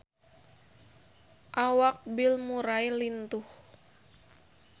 Awak Bill Murray lintuh